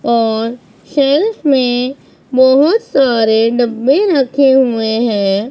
और शेल्फ में बहुत सारे डब्बे रखे हुए हैं।